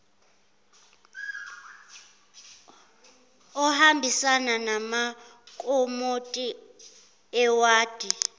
ohambisana namakomiti ewadi